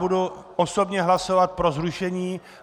Budu osobně hlasovat pro zrušení.